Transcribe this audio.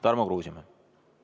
Tarmo Kruusimäe, palun!